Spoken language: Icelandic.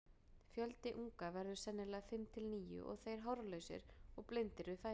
Fjöldi unga verður sennilega fimm til níu og þeir hárlausir og blindir við fæðingu.